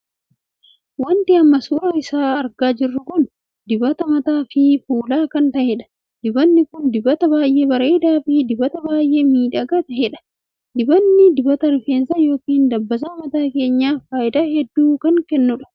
Wanti amma suuraa isaa argaa jirru kun dibata mataa fi fulaa kan tahedha. dibanni kun dibata baay'ee bareedaa fi dibata baay'ee miidhagaa tahedha. dibanni dibita rifeensa ykn dabbasaa mataa keenyaaf faayidaa hedduu kan qabudha.